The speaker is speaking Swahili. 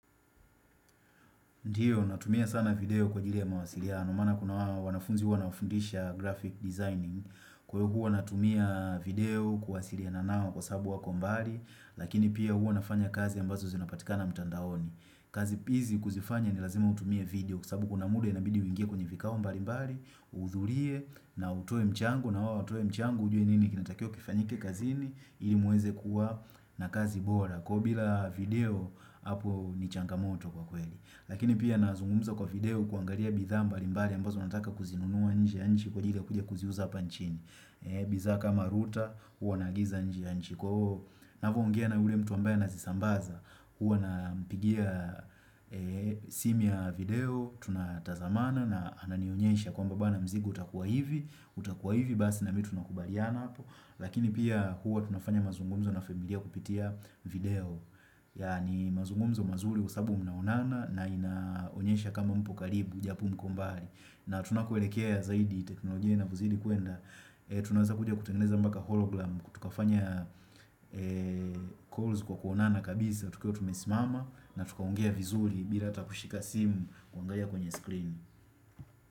Ndiyo, natumia sana video kwa ajili ya mawasiliano, maana kuna wanafunzi huwa na wafundisha graphic designing, kwa hivo huwa natumia video kuwasiriana nao kwa sabu wako mbali, lakini pia huwa nafanya kazi ambazo zinapatika na mtandaoni. Kazi pizi kuzifanya ni lazima utumie video, kusabu kuna mude inabidi wingie kwenye vikao mbali mbali, uhudhulie na utoe mchango, na wao uwatoe mchango, ujue nini kinatakio kifanyike kazini, ili muweze kuwa na kazi bora, kwa bila video hapo ni changamoto kwa kweli. Lakini pia nazungumza kwa video kuangalia bidhaa mbali mbali ambazo nataka kuzinunua nje ya nchi kwa ajilia kuja kuziuza hapa nchini bidhaa kama routers hua nagiza nje ya mchi kwa huo navo ongea na yule mtu ambaye anazisambaza huwa nampigia simu ya video tunatazamana na ananionyesha kwamba bwana mzigo utakuwa hivi utakuwa hivi basi na mi tu nakubaliana hapo. Lakini pia hua tunafanya mazungumzo na familia kupitia video Yani mazungumzo mazuri kwa sababu mnaonana na inaonyesha kama mpo karibu japo mko mbali na tunakoelekea zaidi teknolojia na inavozidi kuenda Tunaweza kuja kutengeneza mbaka hologram tukafanya calls kwa kuonana kabisa tukiwa tumesimama na tuka ongea vizuri bila ata kushika simu kuangalia kwenye screen.